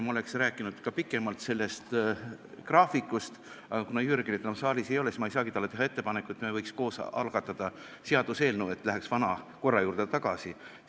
Ma oleks rääkinud pikemalt ka töökorra graafikust, aga kuna Jürgenit enam saalis ei ole, siis ma ei saagi talle teha ettepanekut, et me võiks koos algatada seaduseelnõu, et läheks vana korra juurde tagasi.